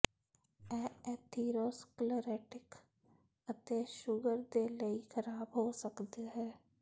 ਇਹ ਐਥੀਰੋਸਕਲੇਰੋਟਿਕ ਅਤੇ ਸ਼ੂਗਰ ਦੇ ਲਈ ਖ਼ਰਾਬ ਹੋ ਸਕਦਾ ਹੈ